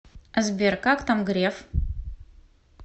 сбер как там греф